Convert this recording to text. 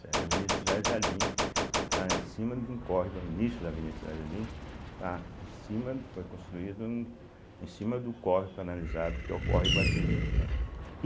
Avenida Cidade Jardim, está em cima de um córrego, o início da Avenida Cidade Jardim, está em cima foi construído em cima do córrego canalizado que é o córrego Iguatimi.